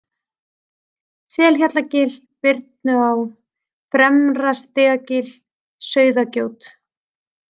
Selhjallagil, Birnuá, Fremra-Stigagil, Sauðagjót